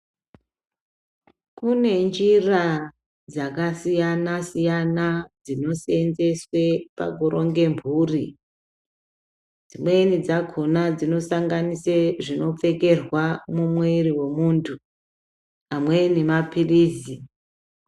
Kunenjira dzakasiyanasiyana dzinosenzeswe pakuronge mhuri dzimweni dzakona dzinosanganisa zvinopfekerwa mumwiri mwemuntu amweni mapilizi.